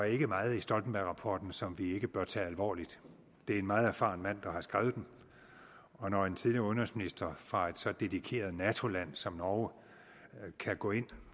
ikke er meget i stoltenbergrapporten som vi ikke bør tage alvorligt det er en meget erfaren mand der har skrevet den og når en tidligere udenrigsminister fra et så dedikeret nato land som norge kan gå ind